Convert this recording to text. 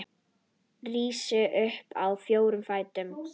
Rís upp á fjóra fætur.